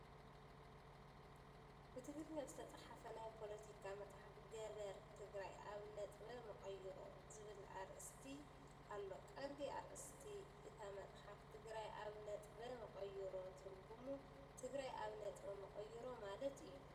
ብትግርኛ ዝተጻሕፈ ናይ ፖለቲካ መጽሓፍ ገበር "ትግራይ ኣብ ነጥበ መቐይሮ" ዝብል ኣርእስቲ ኣለዎ። ቀንዲ ኣርእስቲ እታ መጽሓፍ "ትግራይ ኣብ ነጥበ መቐይሮ" ትርጉሙ "ትግራይ ኣብ ነጥበ መቐይሮ" ማለት እዩ።